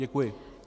Děkuji.